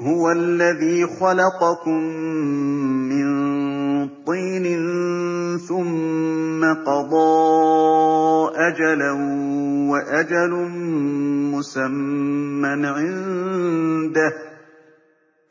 هُوَ الَّذِي خَلَقَكُم مِّن طِينٍ ثُمَّ قَضَىٰ أَجَلًا ۖ وَأَجَلٌ مُّسَمًّى عِندَهُ ۖ